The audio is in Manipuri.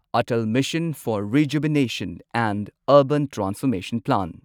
Atal mission, urban transformation plan